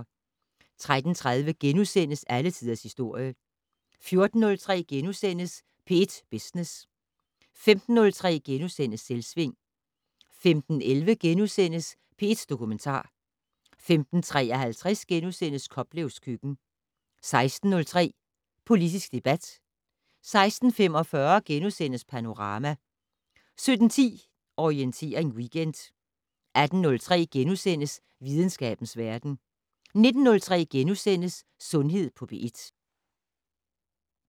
13:30: Alle tiders historie * 14:03: P1 Business * 15:03: Selvsving * 15:11: P1 Dokumentar * 15:53: Koplevs køkken * 16:03: Politisk debat 16:45: Panorama * 17:10: Orientering Weekend 18:03: Videnskabens verden * 19:03: Sundhed på P1 *